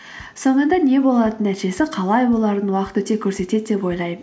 соңында не болатынын нәтижесі қалай боларын уақыт өте көрсетеді деп ойлаймын